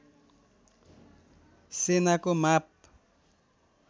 सेनाको माप